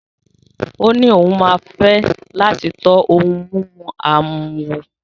Ó ní òun máa fẹ́ láti tọ́ ohun mímu àwín wò.